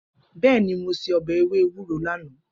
Bẹẹni, mo se obe ewe ewuro lana.